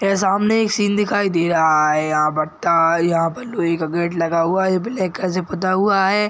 यह सामने एक सीन दिखाई दे रहा है यहाँ पर टाइल यहाँ पर लोहे का गेट लगा हुआ है ये ब्लैक कलर से फुता हुआ है।